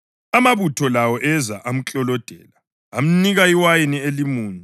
Amabutho lawo eza amklolodela. Amnika iwayini elimunyu